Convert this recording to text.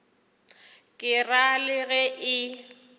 ke ra le ge e